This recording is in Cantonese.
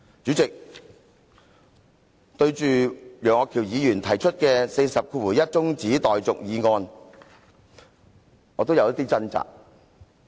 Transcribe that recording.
主席，對於楊岳橋議員根據《議事規則》第401條動議的中止待續議案，我也有少許掙扎。